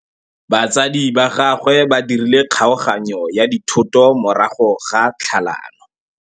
Batsadi ba gagwe ba dirile kgaoganyô ya dithoto morago ga tlhalanô.